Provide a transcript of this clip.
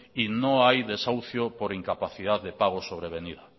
y no hay desahucio por incapacidad de pagos sobrevenido